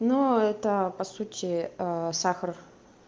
но это по сути сахар